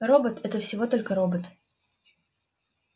робот это всего только робот